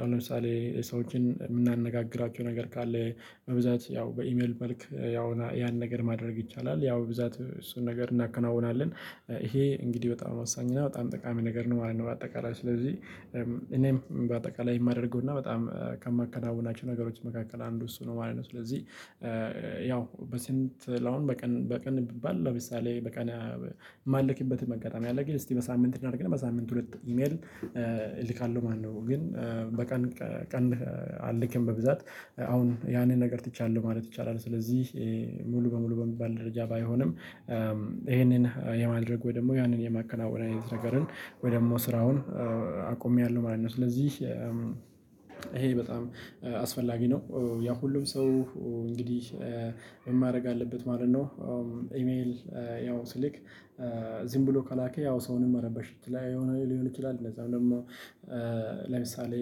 አሁን ለምሳሌ ሰዎችን የምናነጋግራቸው ነገር ካለ በብዛት ያው በኢሜል መልክ ያው ያን ነገር ማድረግ ይቻላል። ያው በብዛት እሱን ነገር እናከናውናለን። ይሄ እንግዲህ በጣም ወሳኝና በጣም ጠቃሚ ነገር ነው ማለት ነው። በአጠቃላይ ስለዚህ እኔም በአጠቃላይ የማደርገውና በጣም ከማከናውናቸው ነገሮች መካከል አንዱ እሱ ነው ማለት ነው። ስለዚህ ያው በስንት ሚለውን በቀን በቀን ቢባል ለምሳሌ በቀን የማልክበትም አጋጣሚ አለ ግን እስቲ በሳምንት እናድርግና በሳምንት ሁለት ኢሜል እልካለሁ ማለት ነው። ግን በቀን ቀን አልክም በብዛት አሁን ያንን ነገር ትቻላለህ ማለት ይቻላል። ስለዚህ ሙሉ በሙሉ በሚባል ደረጃ ባይሆንም ይሄንን የማድረግ ወይ ደግሞ ያንን የማከናወን አይነት ነገርን ወይ ደግሞ ስራውን አቆሚያለሁ ማለት ነው። ስለዚህ ይሄ በጣም አስፈላጊ ነው። ያ ሁሉም ሰው እንግዲህ ምን ማድርግ አለበት ማለት ነው። አዎ ኢሜል ያው ሲልክ ዝም ብሎ ከላከ ያው ሰውንም መረበሽ ላይ የሆነ ሊሆን ይችላል። እነዛን ደግሞ ለምሳሌ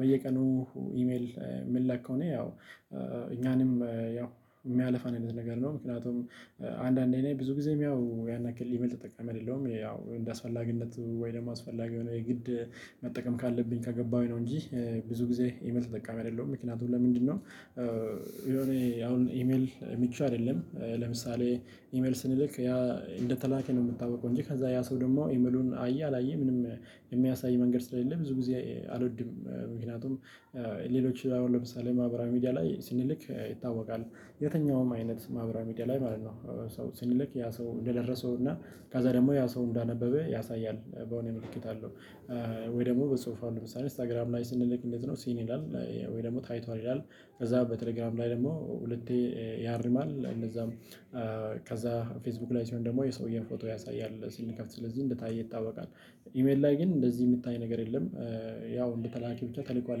በየቀኑ ኢሜል የምልከው እኔ ያው እኛንም ያው የሚያልፋ አይነት ነገር ነው። ምክንያቱም አንዳንዴ ነኝ ብዙ ጊዜ ያው ያን ያክል ኢቭን ጠቃሚ አይደለሁም ያው እንደ አስፈላጊነት ወይ ደግሞ አስፈላጊ የሆነ የግድ መጠቀም ካለብኝ ከገባሁኝ ነው። እንጂ ብዙ ጊዜ ይበልጥ ተጠቃሚ አይደለሁም። ምክንያቱም ለምንድነው? የሆነ አሁን ኢሜል ምቹ አይደለም። ለምሳሌ ኢሜል ስንልክ ያ እንደተላካ ነው የሚታውቀው እንጂ ከዛ ያ ሰው ደግሞ ኢሜሉን አየ አላየ ምንም የሚያሳይ መንገድ ስለሌለ ብዙ ጊዜ አልወድም። ምክንያቱም ሌሎች አሁን ለምሳሌ ማህበራዊ ሚዲያ ላይ ስንልክ ይታወቃል። የትኛውም አይነት ማህበራዊ ሚዲያ ላይ ማለት ነው። ሰው ስንልክ ያ ሰው እንደደረሰው እና ከዛ ደግሞ ያ ሰው እንዳነበበ ያሳያል። በሆነ ምልክት አለው። ወይ ደግሞ በሰፊው ለምሳሌ ኢንስታግራም ላይ ስንልክ እንዴት ነው ሲን ይላል። ወይ ደግሞ ታይቷል ይላል። ከዛ በቴሌግራም ላይ ደግሞ ሁለቴ ያርማል እንደዛም ከዛ ፌስቡክ ላይ ሲሆን ደግሞ የሰውዬውን ፎቶ ያሳያል ስንከፍት ስለዚህ እንደታየ ይታወቃል። ኢሜል ላይ ግን እንደዚህ የሚታይ ነገር የለም። ያው እንደተላከ ብቻ ተልኳል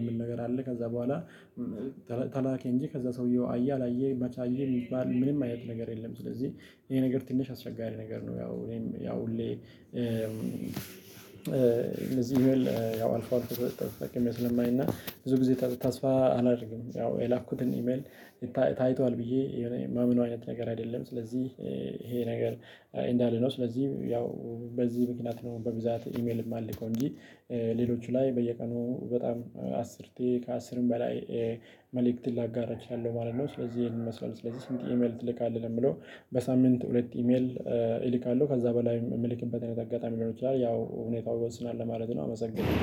የሚል ነገር አለ። ከዛ በኋላ ተላኪ እንጂ ከዛ ሰውየው አየ አላየ መቼ አየ የሚባል ምንም አይነት ነገር የለም። ስለዚህ ይሄ ነገር ትንሽ አስቸጋሪ ነገር ነው። ያው እኔም ያው ሁሌ እንደዚህ ኢሜል አልፎ አልፎ ተጠቅሜ ስለማይና ብዙ ጊዜ ታስፋ አላደርግም። ያው የላኩትን ኢሜል ታይቷል ብዬ የሆነ ማምነው አይነት ነገር አይደለም። ስለዚህ ይሄ ነገር እንዳለ ነው። ስለዚህ ያው በዚህ ምክንያት ነው በብዛት ኢሜል የማልከው እንጂ ሌሎቹ ላይ በየቀኑ በጣም አስርቴ ከአስርም በላይ መልእክትን ላጋራ እችላለሁ ማለት ነው። ስለዚህ ይሄንን ይመስላል ስለዚህ ስንት ኢሜል ትልካለህ ለሚለው? በሳምንት ሁለት ኢሜል እልካለሁ ከዛ በላይ የምልክበት አጋጣሚ ሊኖር ይችላል ያው ሁኔታው ይወስናል ለማለት ነው። አመሰግናለሁ